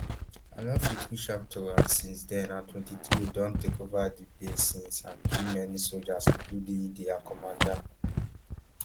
i no fit reach out to am since then and mtwenty-three don take ova di base since and kill many sojas including dia commander